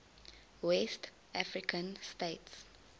west african states